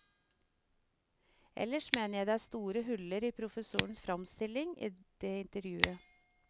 Ellers mener jeg det er store huller i professorens fremstilling i det intervjuet.